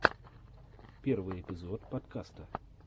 первый эпизод подкаста